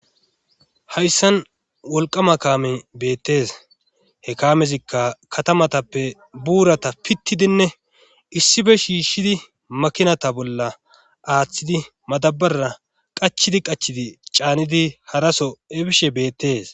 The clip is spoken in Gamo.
hayssan wolqama kaame beettees he kamezikka katamatappe buurata pittidinne issife shiishshidi makinata bolla aaththidi madabara qachidi qachidi caanidi haraso ebishe beettees